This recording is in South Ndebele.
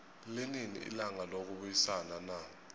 linini ilanga lokubayisana na